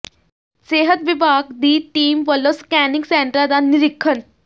ਸਿਹਤ ਵਿਭਾਗ ਦੀ ਟੀਮ ਵਲੋਂ ਸਕੈਨਿੰਗ ਸੈਂਟਰਾਂ ਦਾ ਨਿਰੀਖਣ